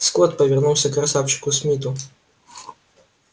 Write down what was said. скотт повернулся к красавчику смиту